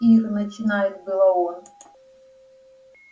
ир начинает было он